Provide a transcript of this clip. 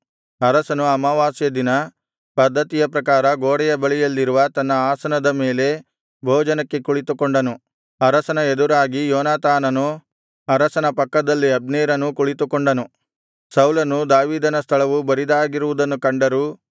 ಅರಸನು ಅಮಾವಾಸ್ಯೆ ದಿನ ಪದ್ದತಿಯ ಪ್ರಕಾರ ಗೋಡೆಯ ಬಳಿಯಲ್ಲಿರುವ ತನ್ನ ಆಸನದ ಮೇಲೆ ಭೋಜನಕ್ಕೆ ಕುಳಿತುಕೊಂಡನು ಅರಸನ ಎದುರಾಗಿ ಯೋನಾತಾನನೂ ಅರಸನ ಪಕ್ಕದಲ್ಲಿ ಅಬ್ನೇರನೂ ಕುಳಿತುಕೊಂಡನು ಸೌಲನು ದಾವೀದನ ಸ್ಥಳವು ಬರಿದಾಗಿರುವುದನ್ನು ಕಂಡರೂ